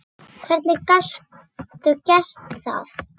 Hvernig gastu gert það?!